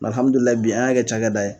bi an y'a kɛ cakɛda ye.